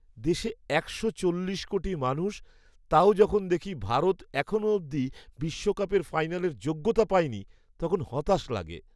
দেশে একশো চল্লিশ কোটি মানুষ, তাও যখন দেখি ভারত এখনও অবধি বিশ্বকাপ ফাইনালের যোগ্যতা পায়নি, তখন হতাশ লাগে।